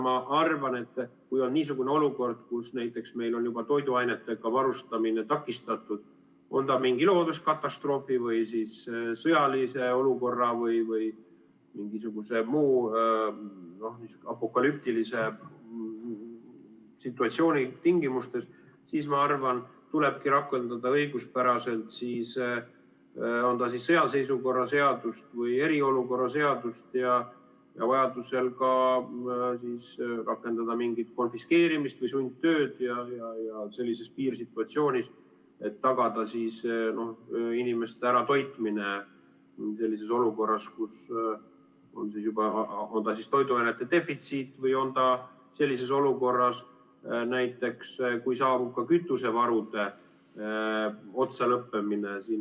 Ma arvan, kui on niisugune olukord, kus meil on juba toiduainetega varustamine takistatud, on see mingi looduskatastroofi või sõjalise olukorra või mingisuguse muu apokalüptilise situatsiooni tingimustes, siis tulebki rakendada õiguspäraselt kas sõjaseisukorra seadust või eriolukorra seadust ja vajaduse korral ka rakendada mingit konfiskeerimist või sundtööd sellises piirsituatsioonis, et tagada inimeste äratoitmine sellises olukorras, kus on juba toiduainete defitsiit või kui saabub näiteks kütusevarude otsalõppemine.